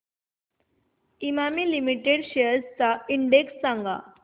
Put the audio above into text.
Emami limited shares चा index सांगा